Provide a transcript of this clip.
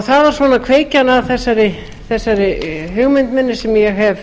það var kveikjan að þessari hugmynd sem ég hef